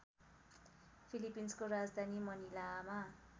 फिलिपिन्सको राजधानी मनिलामा